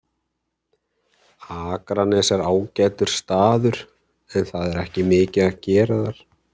Akranes er ágætur staður en það er ekki mikið að gera þar.